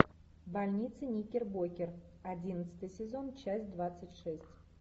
больница никербокер одиннадцатый сезон часть двадцать шесть